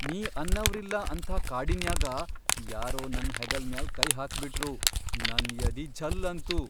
ನೀ ಅನ್ನವ್ರಿಲ್ಲಾ ಅಂಥಾ ಕಾಡಿನ್ಯಾಗ ಯಾರೋ ನನ್ ಹೆಗಲ್ ಮ್ಯಾಲ್ ಕೈ ಹಾಕ್ಬಿಟ್ರು ನನ್ ಯದಿ ಛಲ್ಲಂತು.